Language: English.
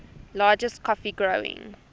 largest coffee growing